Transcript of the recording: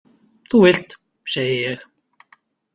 Þú vilt, segi ég.